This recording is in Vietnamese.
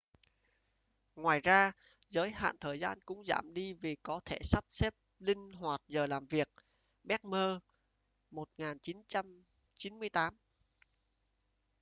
ngoài ra giới hạn thời gian cũng giảm đi vì có thể sắp xếp linh hoạt giờ làm việc. bremer 1998